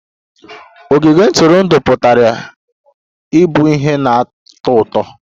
Ogige ntụrụndụ pụtara ịbụ ihe na-atọ ụtọ